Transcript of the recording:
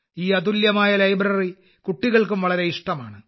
ഈ അതുല്യമായ ലൈബ്രറി കുട്ടികൾക്കും വളരെ ഇഷ്ടമാണ്